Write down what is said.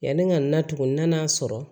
Yani n ka na tugun nan'a sɔrɔ